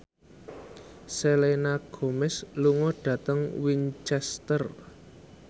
Selena Gomez lunga dhateng Winchester